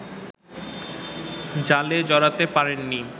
জালে জড়াতে পারেননি